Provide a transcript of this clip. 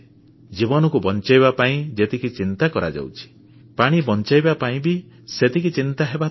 ଜୀବନକୁ ବଞ୍ଚାଇବା ପାଇଁ ଯେତିକି ଚିନ୍ତା କରାଯାଉଛି ପାଣି ବଞ୍ଚାଇବା ପାଇଁ ବି ସେତିକି ଚିନ୍ତା ହେବା ଦରକାର